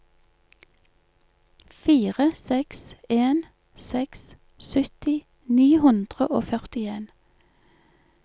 fire seks en seks sytti ni hundre og førtien